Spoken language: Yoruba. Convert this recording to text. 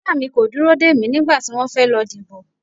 Ìyá mi kò dúró dè mí nígbà tí wọ́n fẹ́ lọ dìbò.